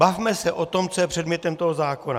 Bavme se o tom, co je předmětem tohoto zákona.